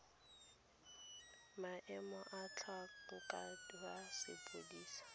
maemo a motlhankedi wa sepodisi